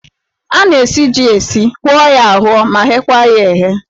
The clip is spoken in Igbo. A na-esi jí esi, hụọ ya ahụọ ma ghekwa ya eghe.